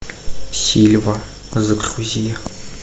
сильва загрузи